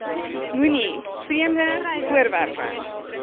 moenie vreemde voorwerpe